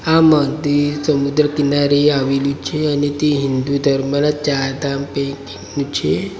આમાં તે સમુદ્ર કિનારે આવેલું છે અને તે હિન્દુ ધર્મના ચારધામ નું છે.